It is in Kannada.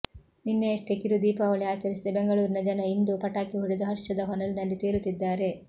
ನಿನ್ನೆಯಷ್ಟೇ ಕಿರು ದೀಪಾವಳಿ ಆಚರಿಸಿದ್ದ ಬೆಂಗಳೂರಿನ ಜನ ಇಂದೂ ಪಟಾಕಿ ಹೊಡದು ಹರ್ಷದ ಹೊನಲಿನಲ್ಲಿ ತೇಲುತ್ತಿದ್ದಾರೆ